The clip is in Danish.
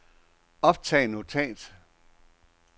optag notat